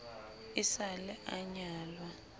e sa le a nyalwa